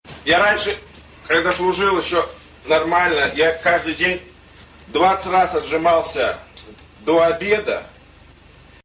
я раньше когда служил ещё нормально я каждый день двадцать раз отжимался до обеда